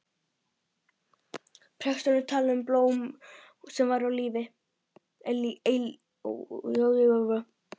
Presturinn talaði um blóm sem væru eilíf.